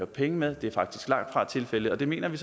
penge med det er faktisk langtfra tilfældet og det mener vi